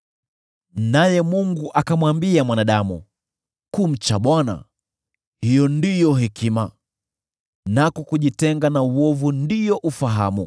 Naye Mungu akamwambia mwanadamu, ‘Kumcha Bwana : hiyo ndiyo hekima, nako kujitenga na uovu ndio ufahamu.’ ”